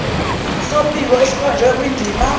sombiko esikhonjwe kwindima